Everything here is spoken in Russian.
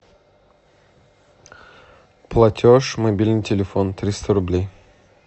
платеж мобильный телефон триста рублей